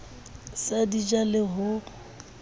sa di ja le ho